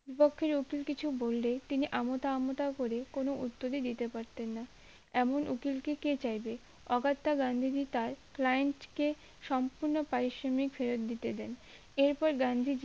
বিপক্ষের উকিল কিছু বললে তিনি আমতা আমতা করে কোনো উত্তর দিতে পারতেন না এমন উকিল কে কে চাইবে অগাত্তা গান্ধীজি তার client কে সম্পূর্ণ পারিশ্রমিক ফেরত দিতে দেন এর পর গান্ধীজী